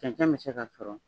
Cɛncɛn bɛ se ka sɔrɔ